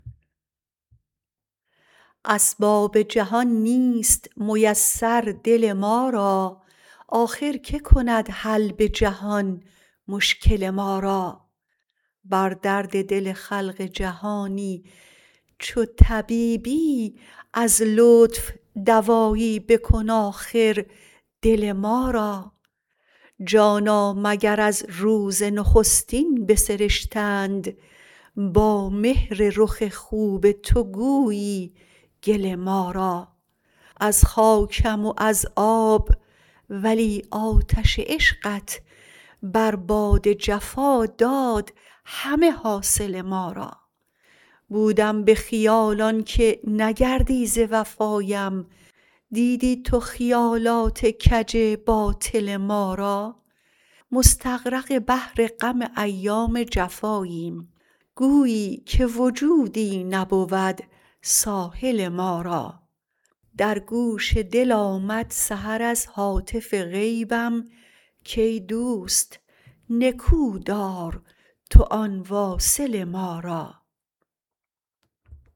اسباب جهان نیست میسر دل ما را آخر که کند حل به جهان مشکل ما را بر درد دل خلق جهانی چو طبیبی از لطف دوایی بکن آخر دل ما را جانا مگر از روز نخستین بسرشتند با مهر رخ خوب تو گویی گل ما را از خاکم و از آب ولی آتش عشقت بر باد جفا داد همه حاصل ما را بودم به خیال آنکه نگردی ز وفایم دیدی تو خیالات کج باطل ما را مستغرق بحر غم ایام جفاییم گویی که وجودی نبود ساحل ما را در گوش دل آمد سحر از هاتف غیبم کای دوست نکو دار تو آن واصل ما را